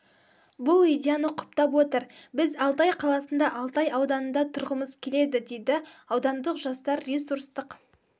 бұл идеяны құптап отыр біз алтай қаласында алтай ауданында тұрғымыз келеді дейді аудандық жастар ресурстық